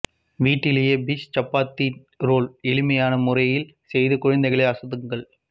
வீட்டிலேயே fish chapati roll எளிமையான முறையில் செய்து குழந்தைகளை அசத்துங்கள்